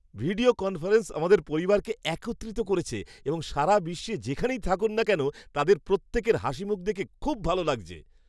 Video conference আমাদের পরিবারকে একত্রিত করেছে এবং সারা বিশ্বে যেখানেই থাকুক না কেন তাদের প্রত্যেকের হাসিমুখ দেখে খুব ভালো লাগছে।